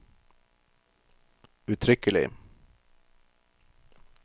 uttrykkelig